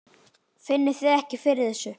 Finnið þið ekki fyrir þessu?